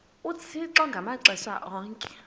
uthixo ngamaxesha onke